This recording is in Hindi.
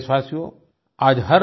मेरे प्यारे देशवासियो